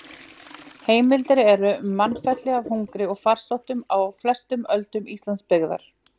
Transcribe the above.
Heimildir eru um mannfelli af hungri eða farsóttum á flestum öldum Íslandsbyggðar.